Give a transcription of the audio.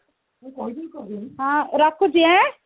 ହଁ ରଖୁଛି ଆଁ